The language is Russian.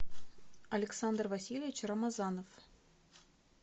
александр васильевич рамазанов